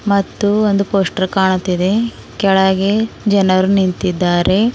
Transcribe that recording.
ಮತ್ತು ಒಂದು ಪೋಸ್ಟರ್ ಕಾಣುತ್ತಿದೆ ಕೆಳಗೆ ಜನರು ನಿಂತಿದ್ದಾರೆ.